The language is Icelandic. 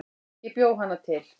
Ég bjó hana til